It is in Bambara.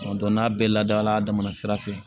n'a bɛɛ ladala a damana sira fɛ